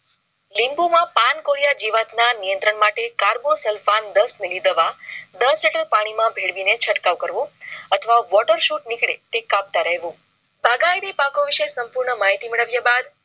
Limbo માં પાન કોરિયા જીવાત ના નિયંત્રણ માટે carbo sulphan દસ મીલી દવા દસ લિટર પાણી માં ભેળવીને છંટકાવ કરવો અથવા. વોટર શૂટ નીકળે તે કાપતાં રેહવું બાગાયતી પાકો વિશે સંપૂર્ણ માહિતી મળ્યા બાદ